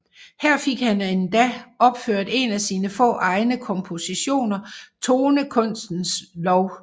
Her fik han endda opført en af sine få egne kompositioner Tonekunstens Lov